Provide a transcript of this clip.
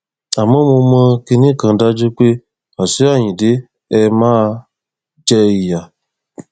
àmọ mo mọ kinní kan dájú pé wàṣíù ayíǹde ẹ máa jẹ ìyá